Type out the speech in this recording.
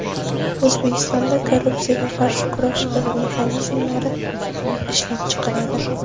O‘zbekistonda korrupsiyaga qarshi kurash mexanizmlari ishlab chiqiladi.